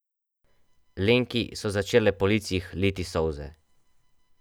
Lenki so začele po licih liti solze.